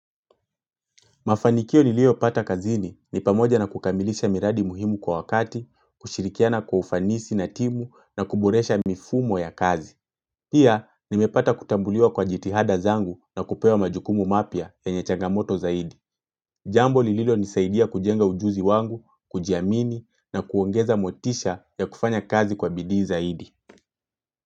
Mafanikio nilio pata kazini, ni pamoja na kukamilisha miradi muhimu kwa wakati, kushirikiana kwa ufanisi na timu, na kuboresha mifumo ya kazi. Pia, nimepata kutambuliwa kwa jitihada zangu, na kupewa majukumu mapia yenye changamoto zaidi. Jambo lililo nisaidia kujenga ujuzi wangu, kujiamini na kuongeza motisha ya kufanya kazi kwa bidii zaidi.